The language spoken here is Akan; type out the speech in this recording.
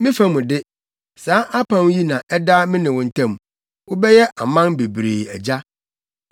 “Me fa mu de, saa apam yi na ɛda me ne wo ntam: wobɛyɛ aman bebree agya.